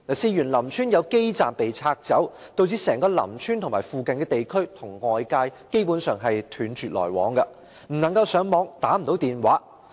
事緣林村有基站被拆走，導致整個林村和附近地區與外界基本上斷絕來往，不能上網，不能打電話。